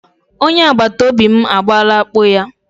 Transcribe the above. Onye agbatobi m abọọla akpụ ya.